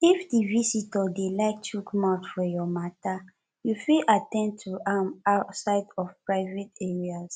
if di visitor dey like chook mouth for your matter you fit at ten d to am outside of private areas